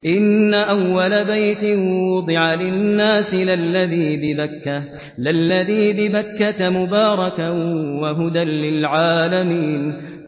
إِنَّ أَوَّلَ بَيْتٍ وُضِعَ لِلنَّاسِ لَلَّذِي بِبَكَّةَ مُبَارَكًا وَهُدًى لِّلْعَالَمِينَ